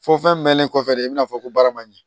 Fɔ fɛn mɛnnen kɔfɛ de i bɛna fɔ ko baara man ɲɛ